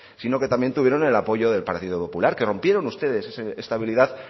sino que también tuvieron el apoyo del partido popular que rompieron ustedes esa estabilidad